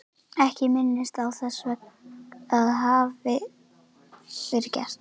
Ekki minnist ég þess að það hafi verið gert.